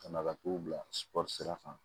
Ka na ka t'u bilasira kan